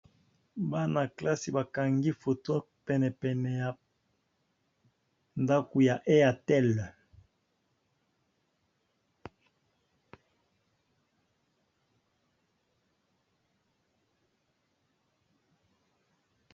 Bana kelasi bakangi photo pene pene ya ndako ya airtel